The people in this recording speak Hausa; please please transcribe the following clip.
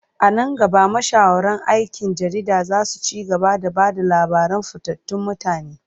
A nan gaba, mashahuran aikin jarida za su ci gaba da ba da labaran fitattun mutane.